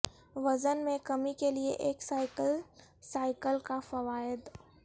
وزن میں کمی کے لئے ایک سائیکل سائیکل کا فوائد